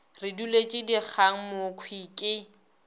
re duletše dikgang mokhwi ke